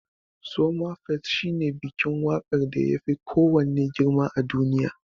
Somafest shine bikin waƙar da yafi kowanne girma a duniya.